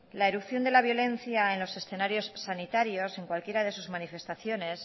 la erupción de la violencia en los escenarios sanitarios en cualquiera de sus manifestaciones